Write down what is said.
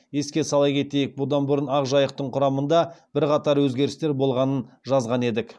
еске сала кетейік бұдан бұрын ақжайықтың құрамында бірқатар өзгерістер болғанын жазған едік